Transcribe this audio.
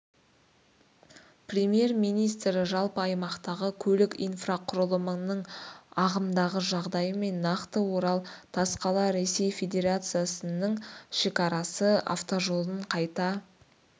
премьер-министр жалпы аймақтағы көлік инфрақұрылымының ағымдағы жағдайы мен нақты орал тасқала ресей федерациясының шекарасы автожолын қайта